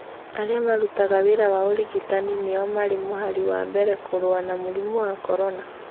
Arĩa marutaga wĩra wa ũrigitani nĩo marĩ mũhari wa mbere kũrũa na mũrimũ wa corona.